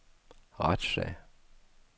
retssag